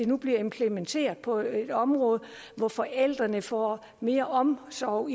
nu bliver implementeret på et område hvor forældrene får mere omsorg og